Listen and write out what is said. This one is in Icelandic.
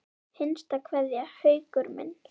HINSTA KVEÐJA Haukur minn.